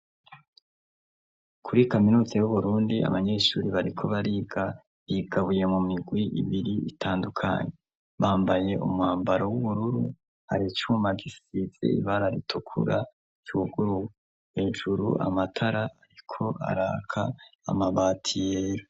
kuri kaminuza y'uburundi abanyeshure bariko bariga bigabuye mu migwi ibiri itandukanye bambaye umwambaro w'ubururu hari cuma gisize ibara ritukura cuguruwe hejuru amatara ariko araka amabati yera